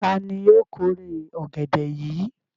Ta ni yóò kórè ọ̀gẹ̀dẹ̀ yìí?